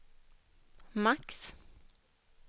max